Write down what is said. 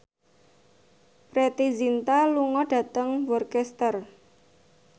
Preity Zinta lunga dhateng Worcester